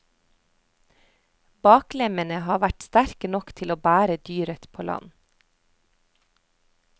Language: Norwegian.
Baklemmene har vært sterke nok til å bære dyret på land.